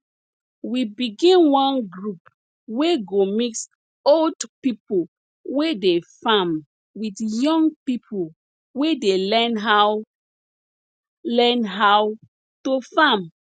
we begin one group wey go mix old people wey dey farm with young people wey dey learn how learn how to farm